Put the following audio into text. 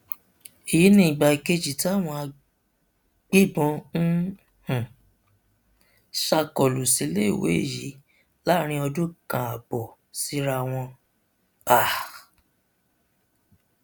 èyí ni ìgbà kejì táwọn agbébọn ń um ṣàkólú síléèwé yìí láàrin ọdún kan ààbọ síra wọn um